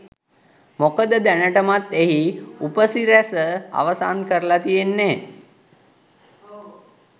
මොකද දැනටමත් එහි උපසිරැස අවසන් කරලා තියෙන්නේ.